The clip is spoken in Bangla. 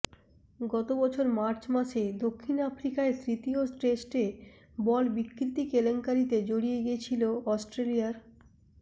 গত বছর মার্চ মাসে দক্ষিণ আফ্রিকায় তৃতীয় টেস্টে বল বিকৃতি কেলেঙ্কারিতে জড়িয়ে গিয়েছিল অস্ট্রেলিয়ার